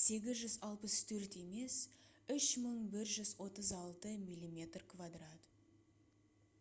864 емес 3136 мм2